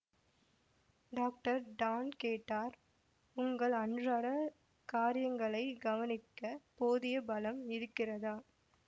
doctor Don கேட்டார் உங்கள் அன்றாட காரியங்களைக் கவனிக்க போதிய பலம் இருக்கிறதா